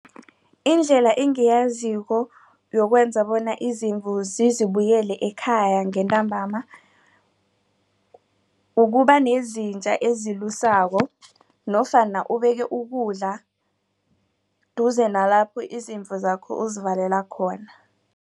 Indlela engiyaziko yokwenza bona izimvu zizibuyele ekhaya ngentambama. Ukubanezinja ezilusako nofana ubeke ukudla duze nalapho izimvu zakho uzivalela khona.